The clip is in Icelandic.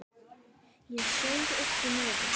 Ég saug upp í nefið.